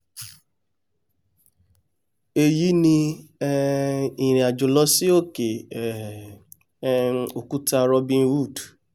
èyí ni um ìrìnàjò lọ sí òkè um òkúta robin hood